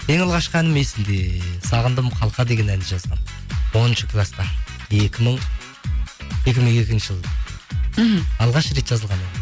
ең алғашқы әнім есімде сағындым қалқа деген әнді жазғанмын оныншы класста екі мың екінші жылы мхм алғаш рет жазылған